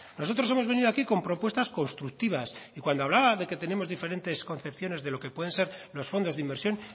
nosotros hemos venido aquí con propuestas constructivas y cuando hablaba de que tenemos diferentes concepciones de lo que pueden ser los fondos de inversión